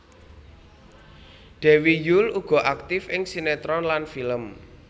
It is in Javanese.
Dewi Yull uga aktif ing sinetron lan film